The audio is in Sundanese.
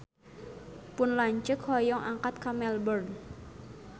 Pun lanceuk hoyong angkat ka Melbourne